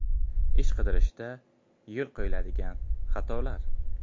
Ish qidirishda yo‘l qo‘yiladigan xatolar.